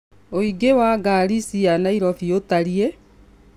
Ũingĩ wa ngari cia Nairobi utariĩ